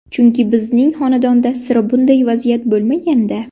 Chunki bizning xonadonda sira bunday vaziyat bo‘lmagan-da.